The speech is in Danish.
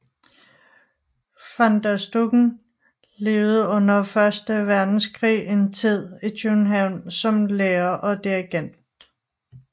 Van der Stucken levede under første verdenskrig en tid i København som lærer og dirigent